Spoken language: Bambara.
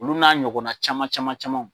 Olu n'a ɲɔgɔnna caman caman camanw.